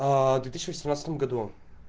в две тысячи восемнадцатом году